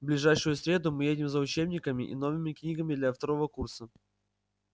в ближайшую среду мы едем за учебниками и новыми книгами для второго курса